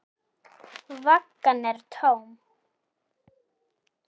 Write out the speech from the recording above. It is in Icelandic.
Vaggan er tóm.